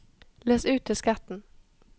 løs ut disketten